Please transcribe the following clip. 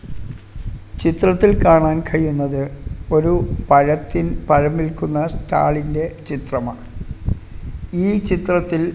ചിത്രത്തിൽ കാണാൻ കഴിയുന്നത് ഒരു പഴത്തിൻ പഴം വിൽക്കുന്ന സ്റ്റാലിന്റെ ചിത്രമാണ് ഈ ചിത്രത്തിൽ--